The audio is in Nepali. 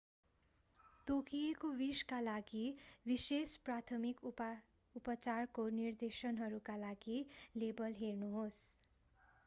तोकिएको विषका लागि विशेष प्राथमिक उपचारको निर्देशनहरूका लागि लेबल हेर्नुहोस्‌।